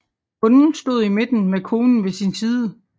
Bonden stod i midten med konen ved sin side